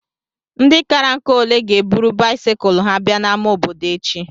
Ndị kárá ǹkà ole ga ébụrụ báịsikụlu ha bịa n'ámá obodo échi?